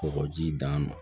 Kɔgɔji d'a ma